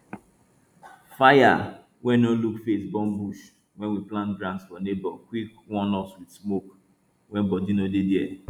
fire wey no look face burn bush wey we plant grass for neighbor quick warn us with smoke when body no dey there